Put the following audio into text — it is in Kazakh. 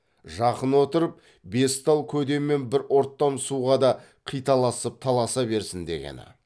жақын отырып бес тал көде мен бір ұрттам суға да қиталасып таласа берсін дегені